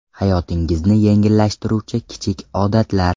Hayotingizni yengillashtiruvchi kichik odatlar.